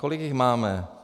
Kolik jich máme?